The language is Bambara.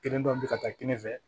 Kelen dɔ bi ka taa kelen fɛ